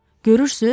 Görürsüz?